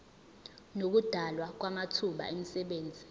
nokudalwa kwamathuba emisebenzi